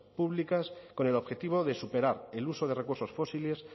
públicas con el objetivo de superar el uso de recursos fósiles